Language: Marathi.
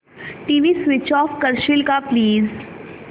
टीव्ही स्वीच ऑफ करशील का प्लीज